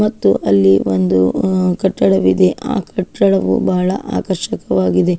ಮತ್ತು ಅಲ್ಲಿ ಒಂದು ಅಹ್ ಕಟ್ಟಡ ಇದೆ. ಆ ಕಟ್ಟಡವು ಬಹಳ ಆಕರ್ಷಕವಾಗಿದೆ.